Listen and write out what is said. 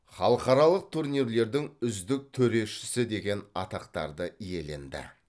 халықаралық турнирлердің үздік төрешісі деген атақтарды иеленді